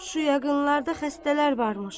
Şu yaxınlarda xəstələr varmış.